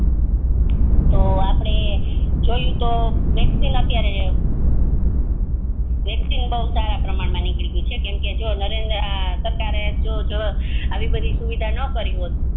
તો આપડે જોયું તો અત્યરે વેક્સિન અત્યર વેક્સિન બૌ સારા પ્રમાણ મા નિકડી ગઈ છે કેમકે આ નરેન્દ્ર સરકારે જો આવી બધી સુવિધા નો કરી હોત